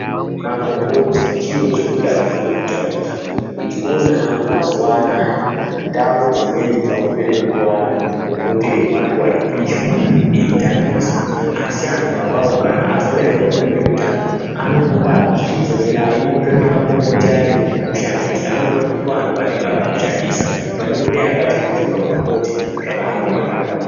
Makomboti chiro chekuti achifani kutambiswa. Ndinoona hangu mazuwa anaya ndau dzimweni dzaakupera kupuwa antu makomboti eihwahla eipishwa eitambiswa. Asi antu ona awawo kana azoremerwazve ngeutano anopota akuzi chidzokerai mutsvake makomboti ayani mushandise. Anoona kuti ndiwo antu aya anenge akazvitambisa . Panekuti dai akachegetedza makomboti zvakanaka muhupenyu.